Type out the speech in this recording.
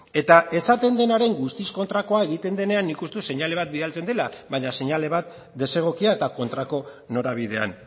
eta esaten denaren guztiz kontrakoa egiten denean nik uste dut seinale bat bidaltzen dela baina seinale bat desegokia eta kontrako norabidean